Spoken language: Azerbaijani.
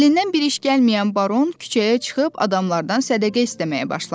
Əlindən bir iş gəlməyən Baron küçəyə çıxıb adamlardan sədəqə istəməyə başladı.